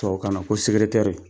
Tubabukan na ko sekeretɛri